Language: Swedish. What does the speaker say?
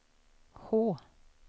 H